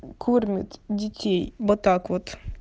кормит детей вот так вот